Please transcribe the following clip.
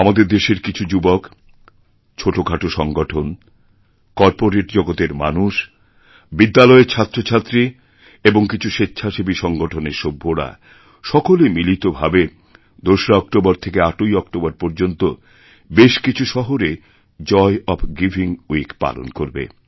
আমাদের দেশের কিছু যুবক ছোটোখাটো সংগঠন কর্পোরেট জগতের মানুষজনবিদ্যালয়ের ছাত্রছাত্রী এবং কিছু স্বেচ্ছাসেবী সংগঠনের সভ্যরা সকলে মিলিত ভাবে২রা অক্টোবর থেকে ৮ই অক্টোবর পর্যন্ত বেশ কিছু শহরে জয় ওএফ গিভিং উইক পালন করবে